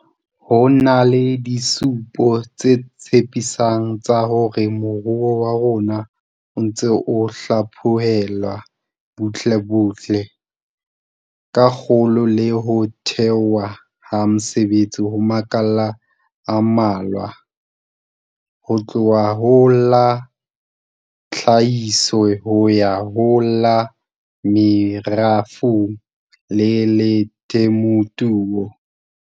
Ho na le disupo tse tshepi sang tsa hore moruo wa rona o ntse o hlaphohelwa butlebutle, ka kgolo le ho thehwa ha mesebetsi ho makala a mmalwa, ho tloha ho la tlhahiso ho ya ho la merafong le la temothuo.